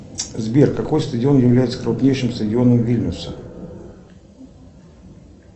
сбер какой стадион является крупнейшим стадионом вильнюса